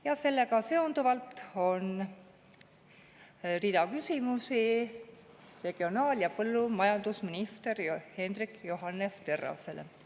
Ja sellega seonduvalt on rida küsimusi regionaal‑ ja põllumajandusminister Hendrik Johannes Terrasele.